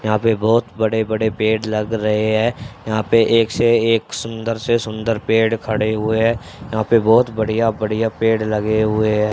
यहां पे बहुत बड़े बड़े पेड़ लग रहे है यहां पे एक से एक सुंदर से सुंदर पेड़ खड़े हुए है यहां पे बहुत बढ़िया बढ़िया पेड़ लगे हुए है।